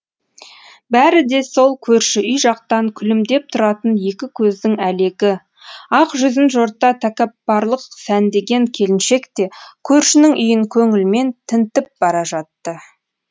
бәрі де сол көрші үй жақтан күлімдеп тұратын екі көздің әлегі ақ жүзін жорта тәкаппарлық сәндеген келіншек те көршінің үйін көңілмен тінтіп бара жатты